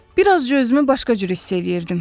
Bir azca özümü başqa cür hiss eləyirdim.